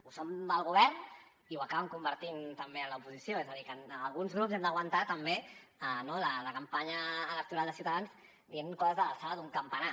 ho són amb el govern i ho acaben convertint també en l’oposició és a dir que en alguns grups hem d’aguantar també la campanya electoral de ciutadans dient coses de l’alçada d’un campanar